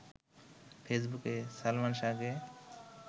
ফেসবুকে সালমান শাহকে